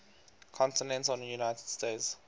continental united states